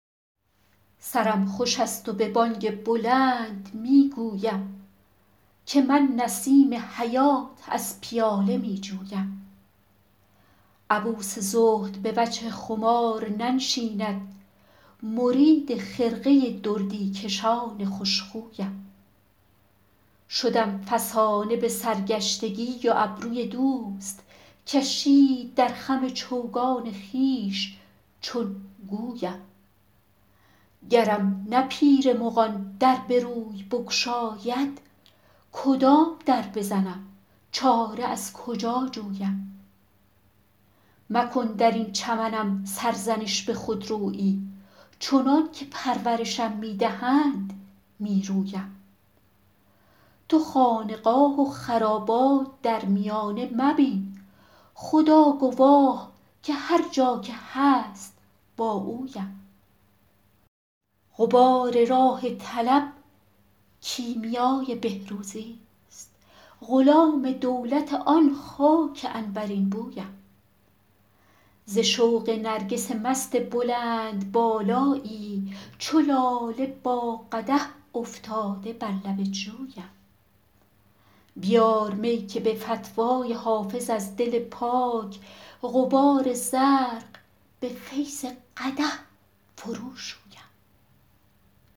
سرم خوش است و به بانگ بلند می گویم که من نسیم حیات از پیاله می جویم عبوس زهد به وجه خمار ننشیند مرید خرقه دردی کشان خوش خویم شدم فسانه به سرگشتگی و ابروی دوست کشید در خم چوگان خویش چون گویم گرم نه پیر مغان در به روی بگشاید کدام در بزنم چاره از کجا جویم مکن در این چمنم سرزنش به خودرویی چنان که پرورشم می دهند می رویم تو خانقاه و خرابات در میانه مبین خدا گواه که هر جا که هست با اویم غبار راه طلب کیمیای بهروزیست غلام دولت آن خاک عنبرین بویم ز شوق نرگس مست بلندبالایی چو لاله با قدح افتاده بر لب جویم بیار می که به فتوی حافظ از دل پاک غبار زرق به فیض قدح فروشویم